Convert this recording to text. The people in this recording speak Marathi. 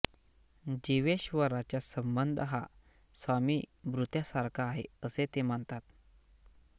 जीवेश्वराचा संबंध हा स्वामिभृत्यासारखा आहे असे ते मानतात